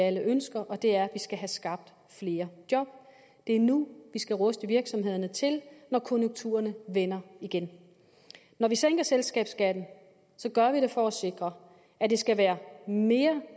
alle ønsker og det er at vi skal have skabt flere job det er nu vi skal ruste virksomhederne til når konjunkturerne vender igen når vi sænker selskabsskatten gør vi det for at sikre at det skal være mere